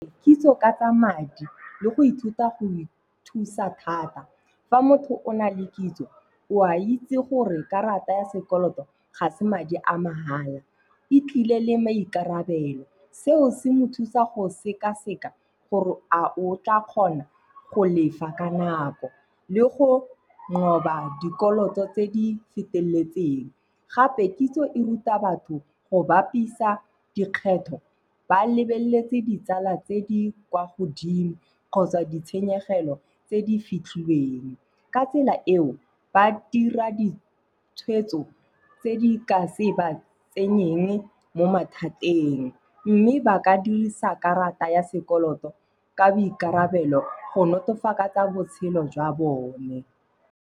Kitso ka tsa madi le go ithuta go ithusa thata. Fa motho o na le kitso, o a itse gore karata ya sekoloto ga se madi a mahala. E tlile le maikarabelo. Seo se mo thusa go sekaseka gore a o tla kgona go lefa ka nako le go nqoba dikoloto tse di feteleletseng. Gape kitso e ruta batho go bapisa dikgetho ba lebeletse ditsala tse di kwa godimo kgotsa ditshenyegelo tse di fitlhilweng. Ka tsela eo, ba dira ditshwetso tse di ka se ba tsenyeng mo mathateng. Mme ba ka dirisa karata ya sekoloto ka boikarabelo go nolofatsa botshelo jwa bone.